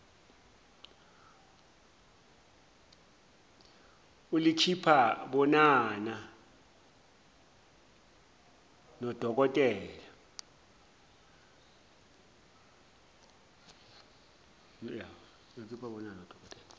ulikhipha bonana dnodokotela